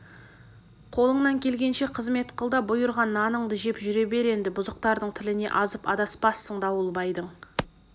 қолыңнан келгенше қызмет қыл да бұйырған наныңды жеп жүре бер енді бұзықтардың тіліне азып адаспассың дауылбайдың